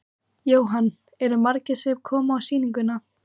Jóhann: Eru margir sem koma að sýningunni?